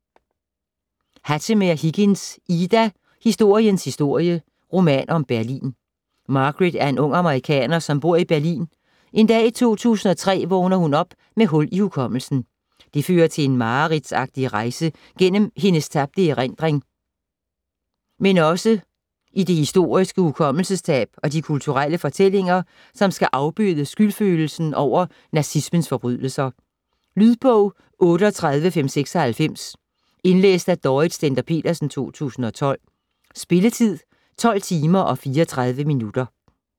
Hattemer-Higgins, Ida: Historiens historie: roman om Berlin Margaret er en ung amerikaner, som bor i Berlin. En dag i 2003 vågner hun op med hul i hukommelsen. Det fører til en mareridtsagtig rejse gennem hendes tabte erindring, men også i det historiske hukommelsestab og de kulturelle fortællinger, som skal afbøde skyldfølelsen over nazismens forbrydelser. Lydbog 38596 Indlæst af Dorrit Stender-Petersen, 2012. Spilletid: 12 timer, 34 minutter.